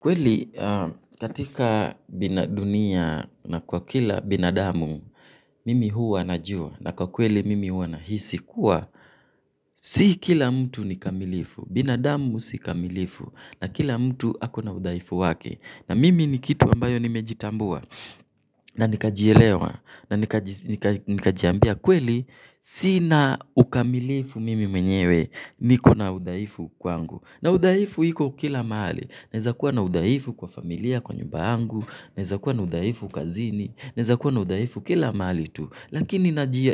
Kweli ahh. Katika bina. Dunia na kwa kila binadamu, mimi huwa najua na kwa kweli mimi huwa nahisi kuwa, si kila mtu ni kamilifu, binadamu si kamilifu na kila mtu ako na udhaifu wake. Na mimi ni kitu ambayo nimejitambua na nikajielewa na nikajiambia kweli sina ukamilifu mimi mwenyewe niko na udhaifu kwangu. Na udhaifu iko kila mahali. Naweza kuwa na udhaifu kwa familia kwa nyumba yangu, neweza kuwa na udhaifu kazini, neweza kuwa na udhaifu kila mahali tu. Lakini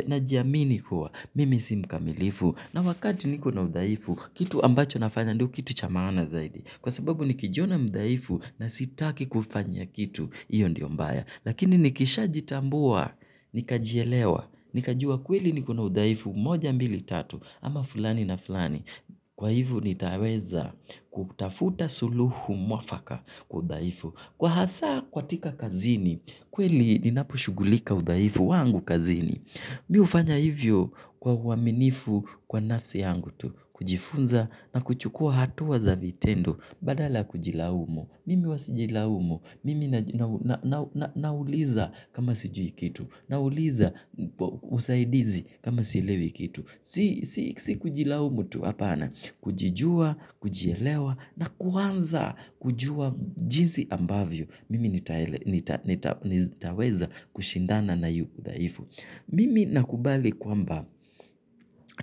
najiamini kuwa mimi si mkamilifu na wakati niko na udhaifu, kitu ambacho nafanya ndio kitu cha maana zaidi. Kwa sababu nikijiona mdhaifu na sitaki kufanya kitu, hiyo ndio mbaya lakini nikishajitambua, nikajielewa nikajua kweli niko na udhaifu, moja mbili tatu, ama fulani na fulani kwa hivyo nitaweza kutafuta suluhu mwafaka kwa udhaifu kwa hasa katika kazini, kweli ninaposhughulika udhaifu wangu kazini mi hufanya hivyo kwa uaminifu kwa nafsi yangu tu kujifunza na kuchukua hatua za vitendo badala kujilaumu mimi huwa sijilaumu mimi nauliza kama sijui kitu nauliza usaidizi kama silewi kitu si kujilaumu tu hapana kujijua, kujielewa na kuanza kujua jinsi ambavyo mimi nitaweza kushindana na udhaifu mimi nakubali kwamba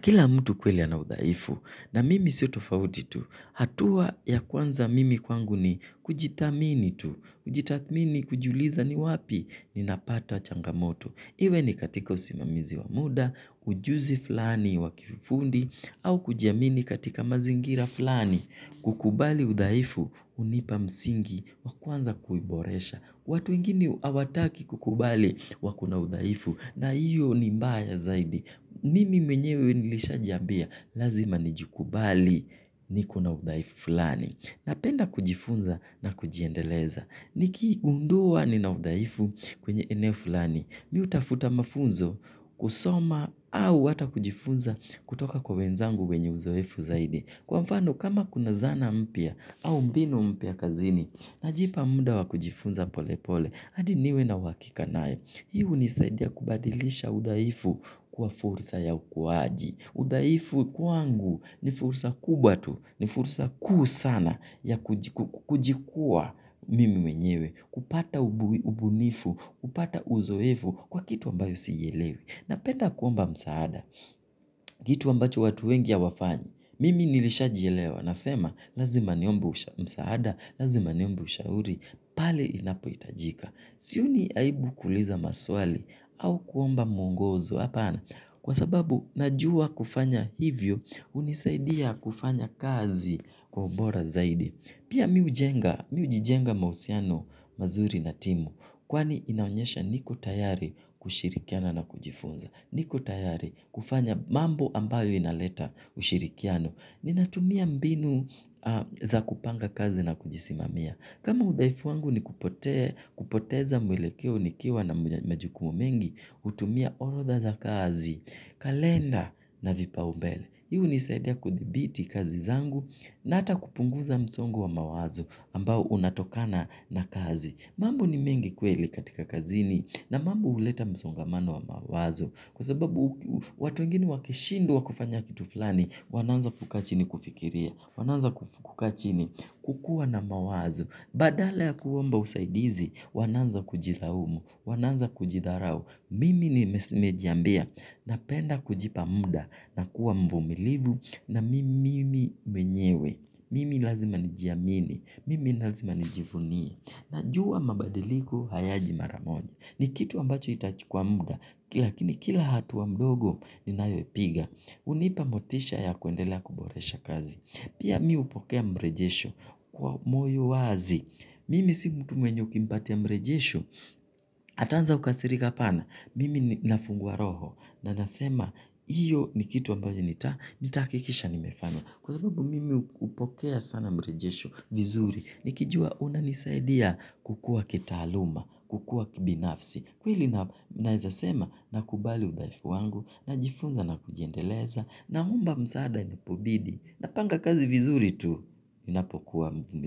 kila mtu kweli ana udhaifu na mimi sio tofauti tu. Hatua ya kwanza mimi kwangu ni kujithamini tu. Kujithamini kujiuliza ni wapi ninapata changamoto. Hiwe ni katika usimamizi wa muda, ujuzi flani wa kifundi, au kujiamini katika mazingira flani kukubali udhaifu hunipa msingi wa kuanza kuboresha. Watu wengine hawataki kukubali wako na udhaifu na hiyo ni mbaya zaidi. Mimi mwenyewe nilishajiambia lazima nijikubali niko na udhaifu fulani. Napenda kujifunza na kujiendeleza. Nikigundua nina udhaifu kwenye eneo fulani. Mi utafuta mafunzo kusoma au hata kujifunza kutoka kwa wenzangu wenye uzoefu zaidi. Kwa mfano kama kuna zana mpya au mbinu mpya kazini. Najipa muda wa kujifunza pole pole, hadi niwe na uhakika nayo. Hii hunisaidia kubadilisha udhaifu kwa fursa ya ukuaji. Udhaifu kwangu ni fursa kubwa tu, ni fursa kuu sana ya kujikuwa mimi wenyewe. Kupata ubunifu, kupata uzoefu kwa kitu ambayo sielewe. Napenda kuomba msaada kitu ambacho watu wengi hawafanyi mimi nilishajielewa nasema lazima niombe msaada, lazima niombe ushauri, pale inapohitajika. Sioni aibu kuuliza maswali au kuomba muongozo hapana kwa sababu najua kufanya hivyo unisaidia kufanya kazi kwa ubora zaidi. Pia mi hujenga mi hujijenga mahusiano mazuri na timu kwani inaonyesha niko tayari kushirikiana na kujifunza. Niko tayari kufanya mambo ambayo inaleta ushirikiano. Ninatumia mbinu za kupanga kazi na kujisimamia. Kama udhaifu wangu ni kupotea. Kupoteza mwelekeo nikiwa na majukumu mengi, hutumia orodha za kazi, kalenda na vipaumbele. Hii hunisaidia kudhibiti kazi zangu na hata kupunguza msongo wa mawazo ambao unatokana na kazi. Mambo ni mengi kweli katika kazini na mambo huleta msongamano wa mawazo. Kwa sababu watu wengine wakishindwa kufanya kitu fulani wanaanza kukaa chini kufikiria wanaanza kukaa chini kukuwa na mawazo badala ya kuomba usaidizi wanaanza kujilaumu wanaanza kujidharau mimi nimejiambia napenda kujipa muda na kuwa mvumilivu na mimi mwenyewe mimi lazima nijiamini mimi lazima nijivunie najua mabadiliko hayaji mara moja ni kitu ambacho itachukua muda lakini kila hatua mdogo ninayoipiga hunipa motisha ya kuendelea kuboresha kazi pia mi hupokea mrejesho kwa moyo wazi mimi si mtu mwenye ukimpatia mrejesho nitaanza kukasirika hapana mimi ninafungua roho na nasema hiyo ni kitu ambayo nitahakikisha nimefanya kwa hivyo mimi hupokea sana mrejesho vizuri nikijua hunanisaidia kukuwa kitaaluma kukuwa kibinafsi kweli na. Naezasema nakubali udhaifu wangu najifunza na kujiendeleza naomba msaada inapobidi napanga kazi vizuri tu ninapokuwa mvumi.